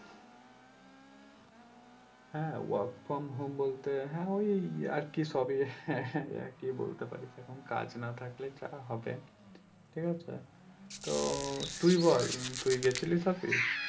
হ্যাঁ work from home বলতে হ্যাঁ ওই আরকি সবই হ্যাঁ হ্যাঁ ওই একি বলতে পারিস এখন কাজ না থাকলে যা হবে ঠিক আছে তো তুই বল তুই গেছিলিস office